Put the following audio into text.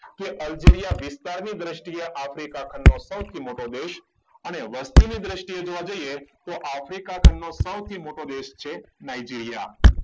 કે અરજીરીયા વિસ્તારની દ્રષ્ટિએ આફ્રિકા ખંડ નો સૌથી મોટો દેશ અને વસ્તીની દ્રષ્ટિએ જોઈએ તો આફ્રિકા ખંડનું સૌથી મોટો દેશ છે નાઈજીરીયા.